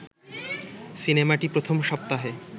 সিনেমাটি প্রথম সপ্তাহে